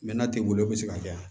n'a tɛ wuli o bi se ka kɛ